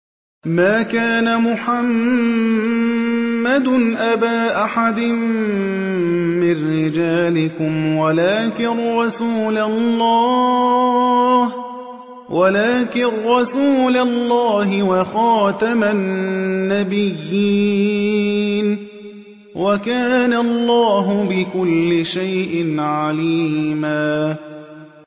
مَّا كَانَ مُحَمَّدٌ أَبَا أَحَدٍ مِّن رِّجَالِكُمْ وَلَٰكِن رَّسُولَ اللَّهِ وَخَاتَمَ النَّبِيِّينَ ۗ وَكَانَ اللَّهُ بِكُلِّ شَيْءٍ عَلِيمًا